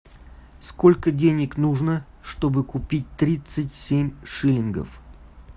сколько денег нужно чтобы купить тридцать семь шиллингов